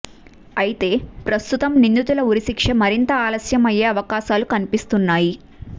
అయితే ప్రస్తుతం నిందితుల ఉరిశిక్ష మరింత ఆలస్యం అయ్యే అవకాశాలు కనిపిస్తున్నాయి